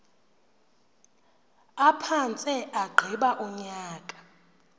aphantse agqiba unyaka